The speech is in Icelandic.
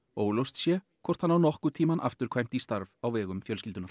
óljóst sé hvort hann á nokkurn tímann afturkvæmt í starf á vegum fjölskyldunnar